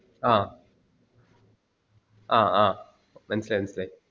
ആ ആ ആ മനസിൽ ആയി മനസിൽ ആയി